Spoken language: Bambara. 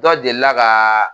Dɔ deli la ka